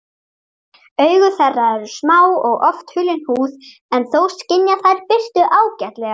Augu þeirra eru smá og oft hulin húð en þó skynja þær birtu ágætlega.